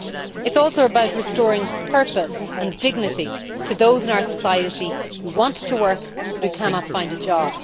it is also about restoring purpose and dignity to those in our society who want to work but cannot find a job.